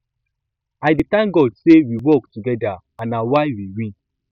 i dey thank god say we work together and na why we win